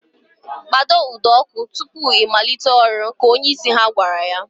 Kpado ụdọ ọkụ tutu I malite ọrụ! Ka onyeisi ha gwara ya